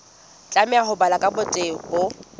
tlameha ho balwa ka botebo